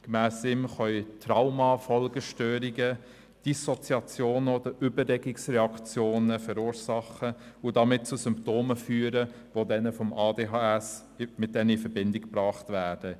Gemäss ihm können Traumafolgestörungen Dissoziationen oder Übererregungsreaktionen verursachen und damit zu Symptomen führen, die mit jenen des ADHS in Verbindung gebracht werden.